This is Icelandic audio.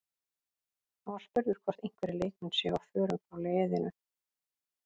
Hann var spurður hvort einhverjir leikmenn séu á förum frá leiðinu?